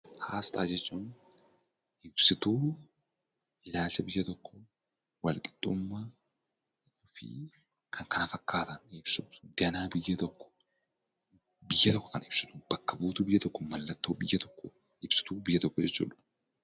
Asxaa jechuun ibsituu ilaalcha biyya tokkoo walqixxummaa fi kan kana fakkaatan ibsuuf ganaa biyya tokko biyya tokko kan bakka buutu biyya tokko kan ibsitudha.